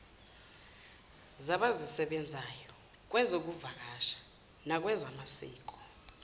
zabazisebenzayo kwezokuvakasha nakwezamasiko